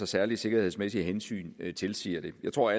særlige sikkerhedsmæssige hensyn tilsiger det jeg tror